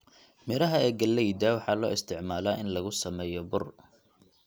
Midhaha ee galleyda waxaa loo isticmaalaa in lagu sameeyo bur.